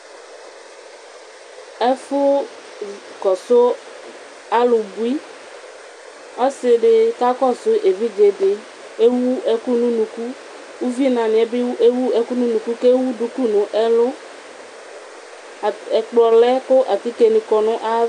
Ɛfʋ kɔsʋ alʋbui, ɔsidi kakɔsʋ evidzedi Kʋ ewʋ ɛkʋ nʋ ʋnʋkʋ kʋ ʋvinaniyɛ bi ewʋ ɛkʋ nʋ ʋnʋkʋ kʋ ewʋ duku nʋ ɛlʋ ɛkplɔlɛ kʋ atikeni kɔnʋ ayʋ ava